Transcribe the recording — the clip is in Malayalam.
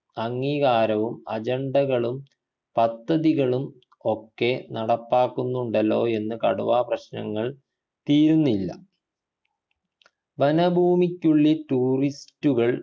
അംഗീകാരവും agenda കളും പദ്ധതികളും ഒക്കെ നടപ്പാക്കുന്നുണ്ടല്ലോ എന്ന് കടുവാ പ്രശ്നങ്ങൾ തീരുന്നില്ല വനഭൂമിക്കുള്ളിൽ tourist ഉകൾ